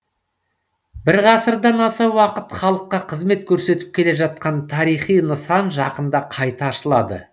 бір ғасырдан аса уақыт халыққа қызмет көрсетіп келе жатқан тарихи нысан жақында қайта ашылады